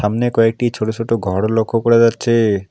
সামনে কয়েকটি ছোট ছোট ঘরও লক্ষ করা যাচ্ছে।